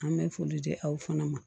An bɛ foli di aw fana ma